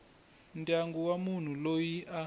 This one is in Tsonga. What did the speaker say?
ndyangu wa munhu loyi a